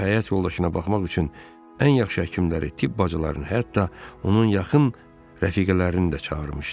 O həyat yoldaşına baxmaq üçün ən yaxşı həkimləri, tibb bacılarını, hətta onun yaxın rəfiqələrini də çağırmışdı.